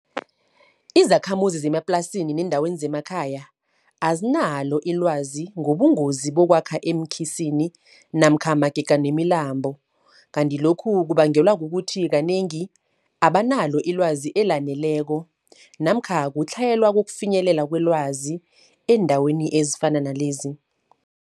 Izakhamuzi zemaplasini neendaweni zemakhaya, azinalo ilwazi ngobungozi bokwakha eenkhisini. namkha magega nemilambo. Kanti lokhu kubangelwa kukuthi kanengi, abanalo ilwazi elaneleko namkha kutlhayelwa kokufinyelela kwelwazi eendaweni ezifana nalezi.